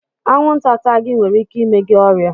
Anwụnta taa gi nwere ike ime gị ọrịa